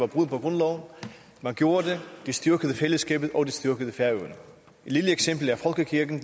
brud på grundloven man gjorde det det styrkede fællesskabet og det styrkede færøerne et lille eksempel er folkekirken